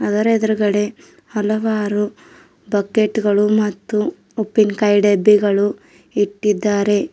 ಅದರ ಎದುರುಗಡೆ ಹಲವಾರು ಬಕೆಟ್ ಗಳು ಮತ್ತು ಉಪ್ಪಿನಕಾಯಿ ಡಬ್ಬಿಗಳು ಇಟ್ಟಿದ್ದಾರೆ.